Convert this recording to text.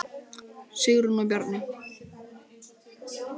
Sigrún og Bjarni.